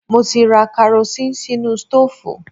Mo ti ra karosín sínú stóòfù